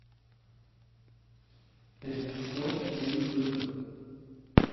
режиссер юрий быков